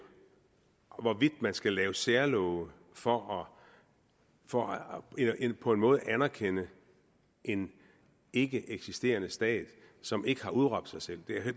hvorvidt man skal lave særlove for for på en måde at anerkende en ikkeeksisterende stat som ikke har udråbt sig selv